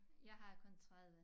Jeg har kun 30